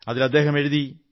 അതിൽ അദ്ദേഹം പറഞ്ഞു